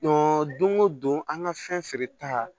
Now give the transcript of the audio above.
don o don an ka fɛn feere ta